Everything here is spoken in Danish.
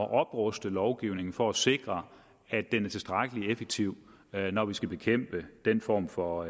at opruste lovgivningen for at sikre at den er tilstrækkelig effektiv når vi skal bekæmpe den form for